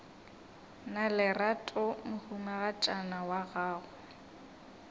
na lerato mohumagadi wa gago